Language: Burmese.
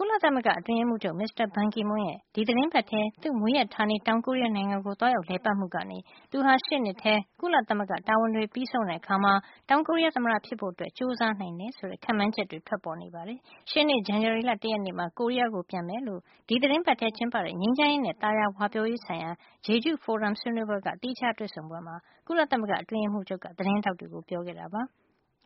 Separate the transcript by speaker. Speaker 1: ကုလသမဂ္ဂ အတွင်းရေးမှူး ချုပ် မစ္စတာ ဘန်ကီမွန်းရဲ့ ဒီသီတင်းပါတ်ထဲ သူ့မွေးရပ်ဌာနေ တောင်ကိုရီးယား နိုင်ငံကို သွားရောက်လည်မှုကနေ သူဟာ ရှေ့နှစ်ထဲ ကုလသမဂ္ဂတာဝန်တွေ ပြီးဆုံးတဲ့ အခါ တောင်ကိုရီးယား သမ္မတဖြစ်ဖို့ ကြိုးစားနိုင်တယ်ဆိုတဲ့ ခန့်မှန်းချက်တွေ ထွက်ပေါ်နေပါတယ်။ ရှေ့နှစ် ဇန်နဝါရီလ တရက်နေ့မှာ ကိုရီးယားကို ပြန်မယ်လို့ ဒီသီတင်းပါတ်ထဲ ကျင်းပတဲ့ ငြိမ်းချမ်းရေးနဲ့ သာယာဝပြောရေး ဆိုင်ရာ Jeju ဖိုရမ်ဆွေးနွေးပွဲက သီးခြားတွေ့ဆုံပွဲမှာ ကုလသမဂ္ဂ အတွင်းရေးမှူး ချုပ်က သတင်းထောက်တွေ ကို ပြောခဲ့တာပါ။